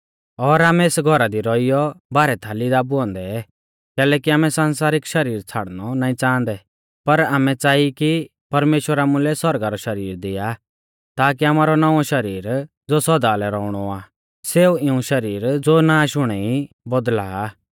और आमै एस घौरा दी रौइयौ भारै थाली दाबुऐ औन्दै कैलैकि आमै संसारिक शरीर छ़ाड़णौ नाईं च़ांहदै पर आमै च़ाई कि परमेश्‍वर आमुलै सौरगा रौ शरीर दिआ ताकी आमारौ नौंवौ शरीर ज़ो सौदा लै रौउणौ आ सेऊ इऊं शरीर ज़ो नाष हुणै ई बौदला आ